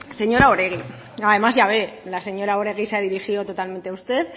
señora oregi además ya ve la señora oregi se ha dirigido totalmente a usted